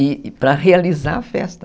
E para realizar a festa.